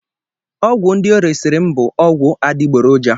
Ọgwụ ndị o resịrị m bụ ọgwụ adịgboroja.